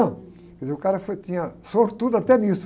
Quer dizer, o cara foi, tinha, sortudo até nisso.